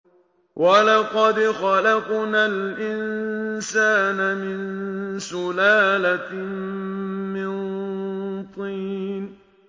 وَلَقَدْ خَلَقْنَا الْإِنسَانَ مِن سُلَالَةٍ مِّن طِينٍ